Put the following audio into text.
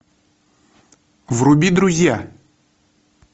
вруби друзья